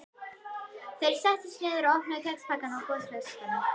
Þeir settust niður og opnuðu kexpakkana og gosflöskurnar.